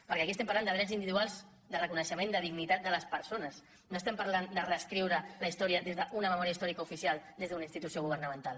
perquè aquí estem parlant de drets individuals de reconeixement de dignitat de les persones no estem parlant de reescriure la història des d’una memòria històrica oficial des d’una institució governamental